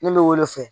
Ne bɛ o de fɛ